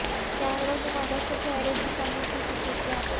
کیمروں کی مدد سے چہرے کی کمی کی خصوصیات